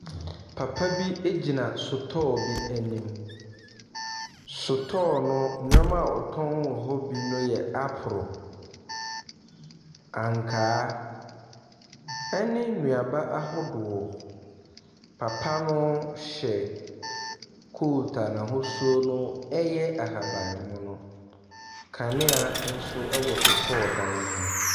Papa bi gyina sotɔɔ anim. Sotɔɔ no nneɛma awɔtɔn hɔ bi no yɛ aporo, ankaa, ɛne nnuaba ahodoɔ. Papa no hyɛ coat a n'ahosuo no yɛ ahaban mono. Kanea nso wɔ sotɔɔ dan no mu.